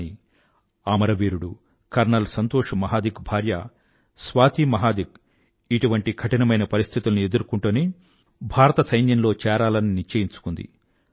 కానీ అమరవీరుడు కర్నల్ సంతోష్ మహాదిక్ భార్య స్వాతి మహాదిక్ ఇటువంటి కఠినమైన పరిస్థితులను ఎదుర్కొంటూనే భారత సైన్యంలో చేరాలని నిశ్చయించుకుంది